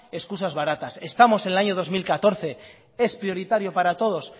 excusas baratas estamos en el año dos mil catorce es prioritario para todos